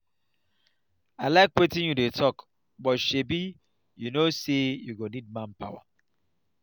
i iike wetin you dey talk but shebi you no say you go need manpower